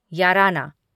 याराना